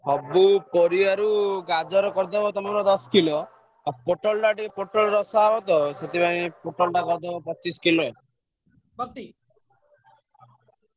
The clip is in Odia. ସବୁ ପରିବାରୁ ଗାଜର ଟା କରିଦବ ଦଶ କିଲ ଆଉ ପୋଟଳ ଟା ଟିକେ ପୋଟଳ ରସ ହବ ତ ପୋଟା ଟା କରିଦବ ପଚିଶ କିଲ ।